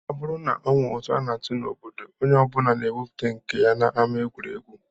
Ọ bụrụ na e nwere ụtụ a na-atụ n'obodo, onye ọ bụla na-ewepụta nke ya n'ama egwuregwu